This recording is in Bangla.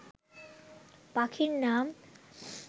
পাখির নাম